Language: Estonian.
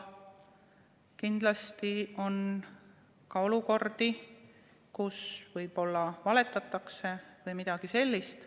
Kindlasti on ka olukordi, kui võib-olla valetatakse või midagi sellist.